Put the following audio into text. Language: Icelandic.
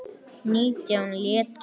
Nítján létust.